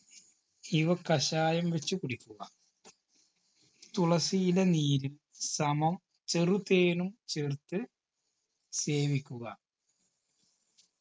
ഇവ കഷായം വെച്ച് കുടിക്കുക തുളസിയില നീര് സമം ചെറുതേനും ചേർത്ത് സേവിക്കുക